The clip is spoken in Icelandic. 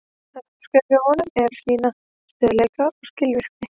Næsta skrefið hjá honum er að sýna stöðugleika og skilvirkni.